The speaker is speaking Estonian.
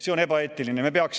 See on ebaeetiline!